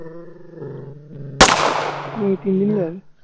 হম তিনদিনই যাবে